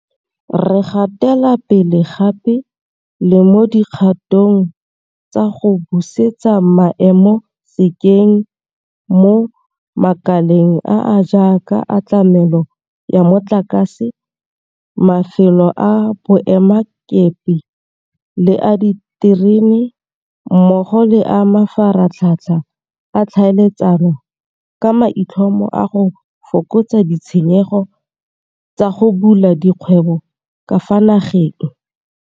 Re gatela pele gape le mo di kgatong tsa go busetsa maemo sekeng mo makaleng a a jaaka a tlamelo ya motlakase, mafelo a boemakepe le a diterene mmogo le a mafaratlhatlha a ditlhaeletsano ka maitlhomo a go fokotsa ditshenyegelo tsa go bula dikgwebo ka fa nageng.